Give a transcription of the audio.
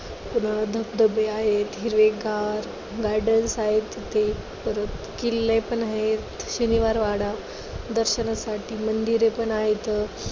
सगळं धबधबे आहेत, हिरवेगार gardens आहेत तिथे, परत किल्ले पण आहेत. शनिवारवाडा, दर्शनासाठी मंदिरे पण आहेत.